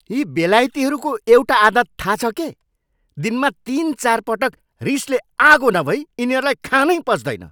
यी बेलायतीहरूको एउटा आदत थाहा छ के? दिनमा तिन, चारपटक रिसले आगो नभई यिनीहरूलाई खानै पच्दैन।